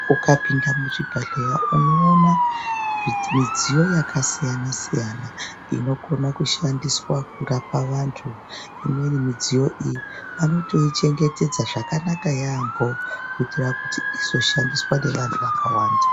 Ukapinde muchibhedhlera unoona midziyo yakasiyana-siyana inokona kushandiswa kurapa vantu, imweni midziyo iyi vanotoichengetedza zvakanaka yaamho kuitira kuti izoshandiswa nevantu vakawanda.